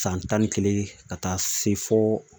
San tan ni kelen ka taa se fɔ